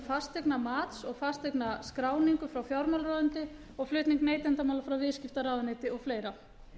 fasteignamats og fasteignaskráningu frá fjármálaráðuneyti og flutning neytendamála frá viðskiptaráðuneyti og fleira